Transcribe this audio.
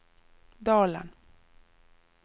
Dalen